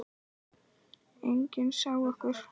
Enginn sá okkur.